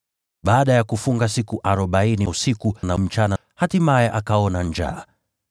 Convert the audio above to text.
Baada ya kufunga siku arobaini usiku na mchana, hatimaye akaona njaa.